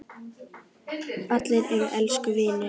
Allir eru elsku vinir.